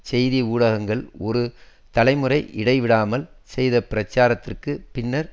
செய்தி ஊடகங்கள் ஒரு தலைமுறை இடை விடாமல் செய்த பிரச்சாரத்திற்குப் பின்னர்